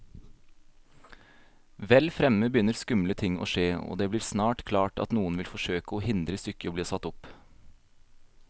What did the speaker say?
Vel fremme begynner skumle ting å skje, og det blir snart klart at noen vil forsøke å hindre stykket i bli satt opp.